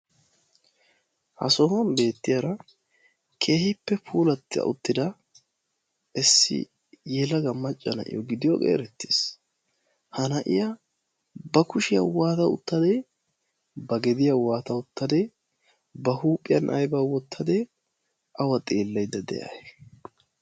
Ha sohuwan beettiyaara keehippe puulata uttida issi yelaga macca naa'iyo gidiyooge erettees. Ha naa'iya ba kushiyaa waata uttade? Ba gediyaa waata uttade? Ba huuphiyaan aybba wottade? Awa xeelaydda de'ay?